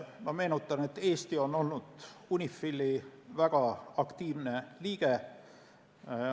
Ma meenutan, et Eesti on olnud UNIFIL-i väga aktiivne liige.